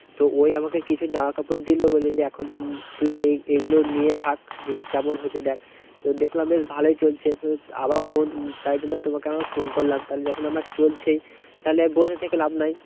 তো ও ই আমাকে কিছু জামাকাপড় দিলো। বলছে যে, এখন তুই এগুলো নিয়ে থাক। যদি কেমন হয়েছে দেখ, তো দেখলাম বেশ ভালোই চলছে। আবার phone তাই জন্য তোমাকে আবার phone করলাম। তাহলে যখন আমার চলছে, তাহলে আর বসে থেকে লাভ নাই।